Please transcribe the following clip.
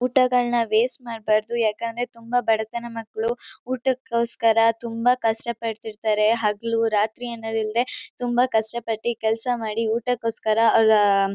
ಊಟಗಳ್ನ waste ಮಾಡ್ಬಾರ್ದು ಯಾಕಂದ್ರೆ ತುಂಬ ಬಡತನ ಮಕ್ಳು ಊಟಕೊಸ್ಕರ ತುಂಬ ಕಷ್ಟಪಡ್ತಿರ್ತಾರೆ ಹಗ್ಲು ರಾತ್ರಿಅನ್ನದಿಲ್ದೆ ತುಂಬ ಕಷ್ಟ ಪಟ್ಟಿ ಕೆಲ್ಸ ಮಾಡಿ ಊಟಕೊಸ್ಕರ ಅವ್ರಾ--